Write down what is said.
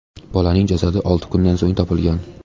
Bolaning jasadi olti kundan so‘ng topilgan.